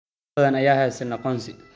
Dad badan ayaan haysan aqoonsi.